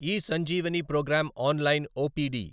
eSanjeevani program online OPD